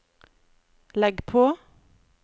legg på